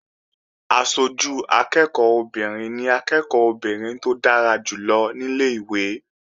Aṣojú akẹ́ẹ̀kọ́ obìnrin ni akẹ́ẹ̀kọ́ obìnrin tó dára jù lọ ní ilé-ìwé